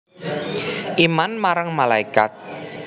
Iman marang malaikat